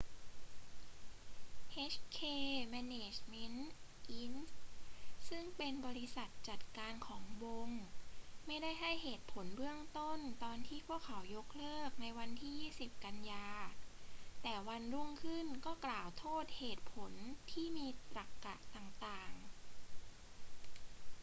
hk management inc ซึ่งเป็นบริษัทจัดการของวงไม่ได้ให้เหตุผลเบื้องต้นตอนที่พวกเขายกเลิกในวันที่ 20 กันยายน แต่วันรุ่งขึ้นก็กล่าวโทษเหตุผลที่มีตรรกะต่าง ๆ